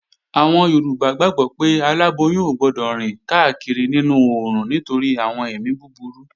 Àwọn Yorùbá gbàgbó pé aláboyún ò gbọdọ̀ rìn káàkiri nínú oòrùn nítorí àwọn èmi búburú